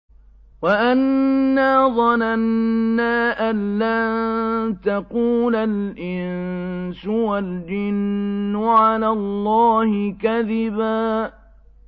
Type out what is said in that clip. وَأَنَّا ظَنَنَّا أَن لَّن تَقُولَ الْإِنسُ وَالْجِنُّ عَلَى اللَّهِ كَذِبًا